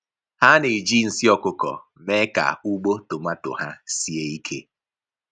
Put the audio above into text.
Ha na-eji nsị ọkụkọ mee ka ugbo tomato ha sie ike.